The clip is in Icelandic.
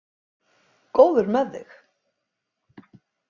Góður með þig.